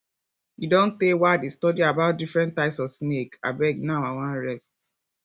e don tey wey i dey study about different types of snake abeg now i wan rest